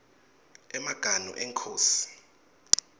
emaganu enkhosi